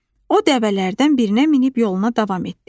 O dəvələrdən birinə minib yoluna davam etdi.